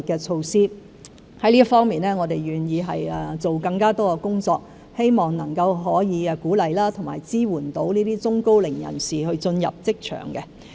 就這方面，我們願意多做工作，希望鼓勵和支援中高齡人士進入職場。